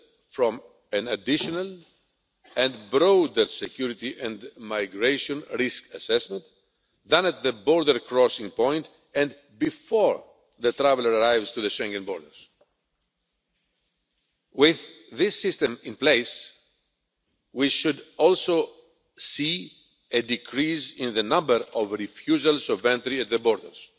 from an additional and broader security and migration risk assessment than at the border crossing point, and before the traveller arrives at the Schengen borders. With this system in place we should also see a decrease in the number of refusals of entry at the borders.